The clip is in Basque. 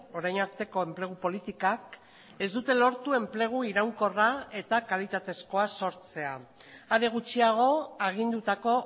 orain arteko enplegu politikak ez dute lortu enplegu iraunkorra eta kalitatezkoa sortzea are gutxiago agindutako